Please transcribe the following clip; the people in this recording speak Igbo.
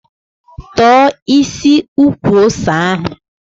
Tọ̀ọ́ isi ukwu ose ahụ!